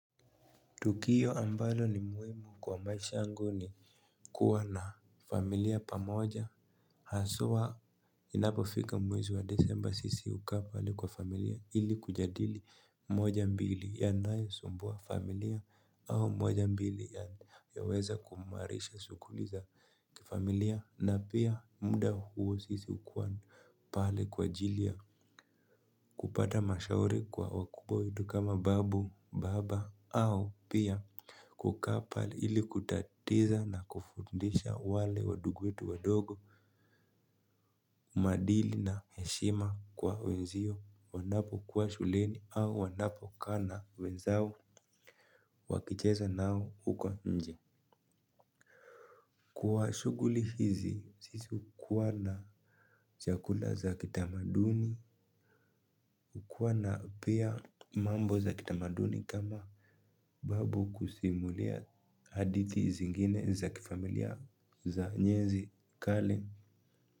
Tukio ambalo ni muhimu kwa maisha yangu ni kuwa na familia pamoja haswa inapofika mwezi wa december sisi hukaa pale kwa familia ili kujadili moja mbili yanayo sumbua familia au moja mbili yaweza kuimarisha sughuli za familia na pia muda huo sisi hukuwa pale kwa ajili ya kupata mashauri kwa wakubwa wetu kama babu baba au pia kukaa pale ili kutatiza na kufundisha wale wandugu wetu wadogo. Umaadili na heshima kwa wenzio wanapokuwa shuleni au wanapo kaa na wenzao. Wakicheza nao huko nje. Kwa shughuli hizi sisi hukuwa na chakula za kitamaduni. Hukwa na pia mambo za kitamaduni kama babu kusimulia hadithi zingine za kifamilia za enzi kale.